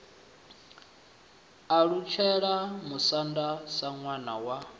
alutshela musanda sa ṋwana wa